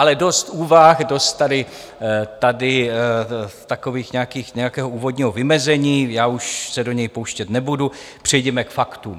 Ale dost úvah, dost tady takového nějakého úvodního vymezení, já už se do něj pouštět nebudu, přejděme k faktům.